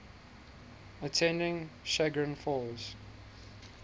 attending chagrin falls